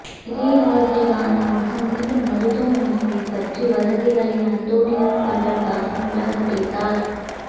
இதய நோய்கள் காரணமாக மீண்டும் மருத்துவமனையைப் பற்றி வதந்திகளை அன்டோனியோ பண்டர்டாஸ் நிராகரித்தார்